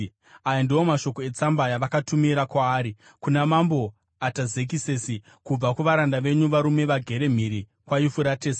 Aya ndiwo mashoko etsamba yavakatumira kwaari: Kuna Mambo Atazekisesi, Kubva kuvaranda venyu, varume vagere mhiri kwaYufuratesi: